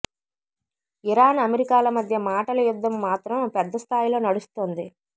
Iran అమెరికాల మధ్య మాటల యుద్ధం మాత్రం పెద్ద స్థాయిలో నడుస్తోంది